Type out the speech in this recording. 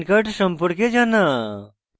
নিজের pan card সম্পর্কে জানা